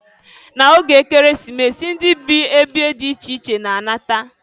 Na oge Ekeresimesi, ndị bi ebe dị iche iche na-alata.